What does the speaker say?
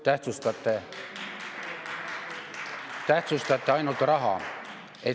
Tähtsustate ainult raha.